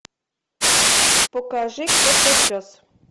покажи котопес